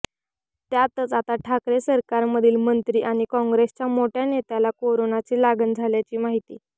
त्यातच आता ठाकरे सरकारमधील मंत्री आणि काँग्रेसच्या मोठ्या नेत्याला कोरोनाची लागण झाल्याची माहिती